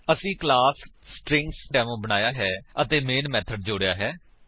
ਅਸੀਂ class string demo ਬਣਾਇਆ ਹੈ ਅਤੇ ਮੈਨ ਮੇਥਡ ਜੋੜਿਆ ਹੈ